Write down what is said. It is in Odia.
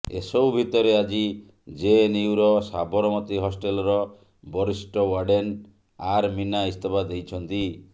ଏସବୁ ଭିତରେ ଆଜି ଜେଏନୟୁର ସାବରମତି ହଷ୍ଟେଲର ବରିଷ୍ଠ ୱାର୍ଡେନ ଆର ମୀନା ଇସ୍ତଫା ଦେଇଛନ୍ତି